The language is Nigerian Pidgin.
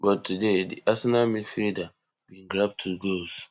but today di arsenal midfielder bin grab two goals